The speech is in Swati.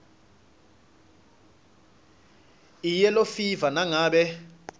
iyellow fever nangabe